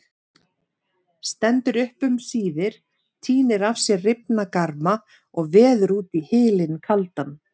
Stendur upp um síðir, tínir af sér rifna garma og veður út í hylinn kaldan.